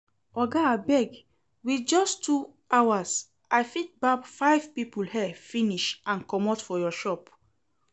Oga abeg, with just two hours I fit barb five people hair finish and comot for your shop